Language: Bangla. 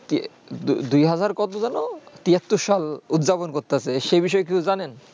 দুই হাজার কত জানো তিহাত্তর সাল উর্জা উৎপাদন করতেছে সেই বিষয়ে কিছু জানেন